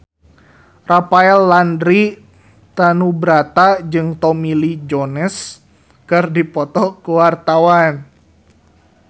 Rafael Landry Tanubrata jeung Tommy Lee Jones keur dipoto ku wartawan